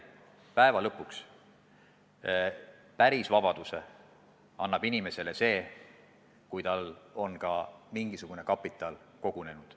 Ja jällegi: päris vabaduse annab inimesele see, et tal on mingisugune kapital kogunenud.